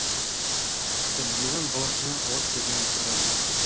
ыржиған баласына ала көзімен қарады